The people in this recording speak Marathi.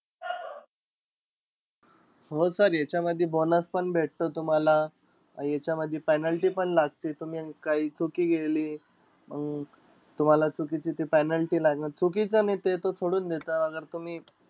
हो sir याच्यामधी bonus पण भेटतो तुम्हाला. याच्यामधी penalty पण लागते, तुम्ही काई चुकी केली, मंग तुम्हाला चुकीची ते penalty लागेन. चुकीचं नाई ते तर सोडून द्या आगर तुम्ही